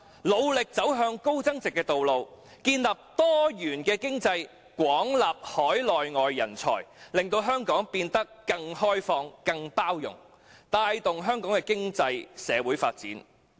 努力走向高增值的路，建立多元經濟......廣納海內外人才，令香港變得更開放及更有包容性，以帶動香港的經濟及社會發展"。